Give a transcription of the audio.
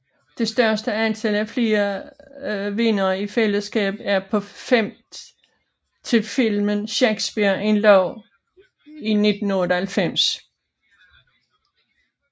Det største antal af flere vindere i fællesskab er på fem til filmen Shakespeare in Love i 1998